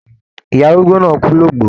Ìyá arúgbó náà kù l'ogbo.